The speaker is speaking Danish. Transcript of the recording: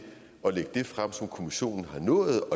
at lægge det frem som kommissionen har nået